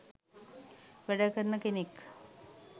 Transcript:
වැඩ කරන කෙනෙක්.